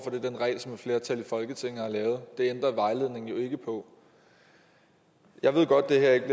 er den regel som et flertal i folketinget har lavet det ændrer vejledningen jo ikke på jeg ved godt det her ikke